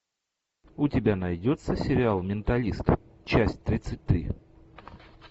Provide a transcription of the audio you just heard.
у тебя найдется сериал менталист часть тридцать три